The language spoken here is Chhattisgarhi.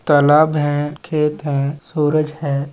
तलाब है खेत है सूरज हैं।